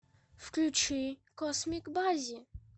включи космик баззи